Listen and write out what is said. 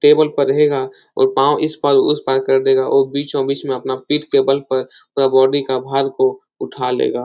Table पर रहेगा और पांव इस पार उस पार कर देगा औ बीच ओ बीच में अपना पीठ के बल पर पुरा बॉडी का भार को उठा लेगा।